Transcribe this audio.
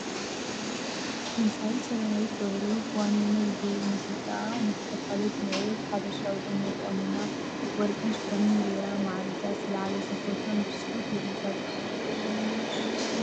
ድምፃዊት ሰላማዊት ገብሩ ዋኒነይ ዝብል ሙዚቃኣ ንኽተፋልጥ ምዕሩግ ሓበሻዊ ቁኖ ተቆኒና ወርቂን ሽፎንን ገይራ ማዕሪጋ ዝተለዓለቶ ፎቶ ምስ ፅሕፋ ይርከብ፡፡